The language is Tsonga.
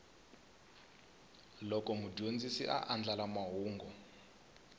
loko mudyondzi a andlala mahungu